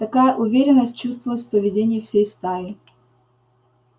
такая уверенность чувствовалась в поведении всей стаи